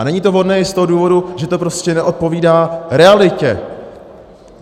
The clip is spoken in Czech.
A není to vhodné i z toho důvodu, že to prostě neodpovídá realitě.